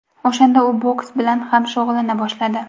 O‘shanda u boks bilan ham shug‘ullana boshladi.